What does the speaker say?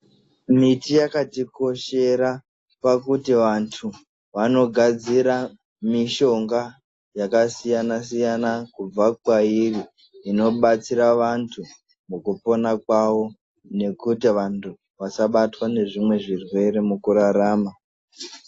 Miti yakatikoshera pakuti vantu vanogadzira mishonga yakasiyana-siyana kubva kwairi inobatsira vantu mukupona kwavo nekuti vantu vasabatwa nezvimwe zvirwere mukurarama.